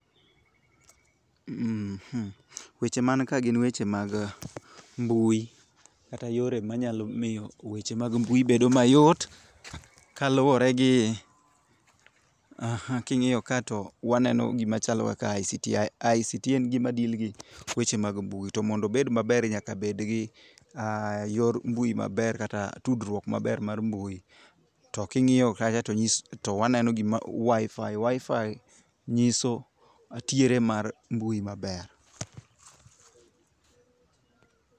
,Weche man kaa gin weche mag mbui, kata yore ma nyalo miyo weche mag mbui bedo mayot, kaluore gi king'iyo kaa to waneno gimachalo kaka ICT, ICT gin gikma deal gi weche mag mbui to mondo obed maber nyaka bed gi yor mbui maber kata tudruok maber mar mbui, to king'iyo kacha to waneno gikma, wifi, wifi nyiso tiere mar mbui maber